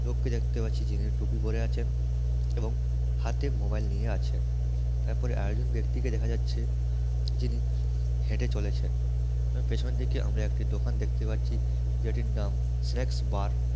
দেখতে পাচ্ছি যিনি টুপি পড়ে আছেন এবং হাত্তে মোবাইল নিয়ে আছেন তারপরে আরেকজন ব্যক্তিকে দেখা যাচ্ছে যিনি হেঁটে চলেছেনপেছনের দিকে আমরা একটি দোকান দেখতে পাচ্ছি যেটির নাম স্ন্যাকস বার --